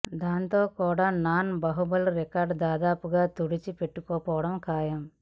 దాంతో కూడా నాన్ బాహుబలి రికార్డులు దాదాపుగా తుడిచి పెట్టుకు పోవడం ఖాయం